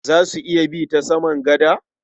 Za su iya bi ta saman gada?